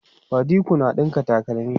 badiko na ɗinka takalma